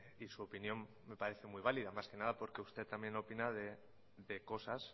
y su opinión me parece muy válida más que nada porque usted también opina de cosas